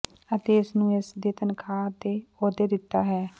ਅਤੇ ਇਸ ਨੂੰ ਇਸੇ ਦੀ ਤਨਖਾਹ ਅਤੇ ਅਹੁਦੇ ਦਿੱਤਾ ਹੈ